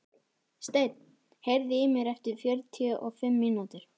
Steinn, heyrðu í mér eftir fjörutíu og fimm mínútur.